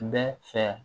Bɛɛ fɛ